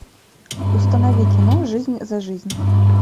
установи кино жизнь за жизнь